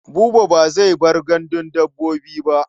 Buba ba zai bar gandun dabbobi ba.